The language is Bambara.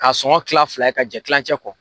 Ka sɔngɔn kila fila ye ka jɛn kilancɛ kɔ.